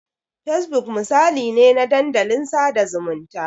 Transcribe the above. Fesbuk misali ne na dandalin sada zumunta.